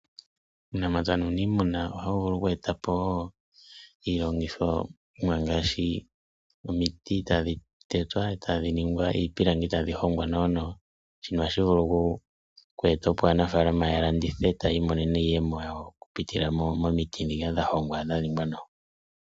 Uunamapya nuuniimuna ohawu vulu okweetapo wo iilongithomwa ngaashi omiti tadhi tetwa etadhi ningwa iipilangi, tadhi hongwa nawa nawa. Shika ohashi vulu okweeta opo aanafaalama ya landithe, etayiimonene iiyemo yawo okupitila momiti dhoka dha hongwa nawa.